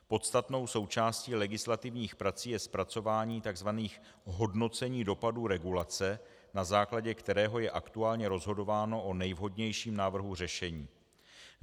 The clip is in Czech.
Podstatnou součástí legislativních prací je zpracování tzv. hodnocení dopadů regulace, na základě kterého je aktuálně rozhodováno o nejvhodnějším návrhu řešení.